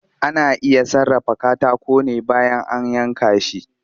Ana iya sarrafa katako ne bayan an yanka shi